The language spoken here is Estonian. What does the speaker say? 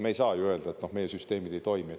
Me ei saa ju öelda, et meie süsteemid ei toimi.